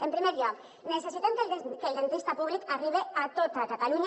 en primer lloc necessitem que el dentista públic arribe a tota catalunya